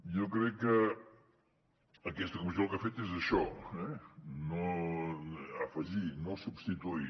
jo crec que aquesta comissió el que ha fet és això eh afegir no substituir